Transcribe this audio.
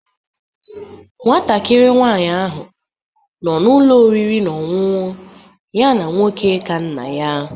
Nwatakịrị nwanyị ahụ nọ n'ụlọ oriri na ọṅụṅụ ya na nwoke ka nna ya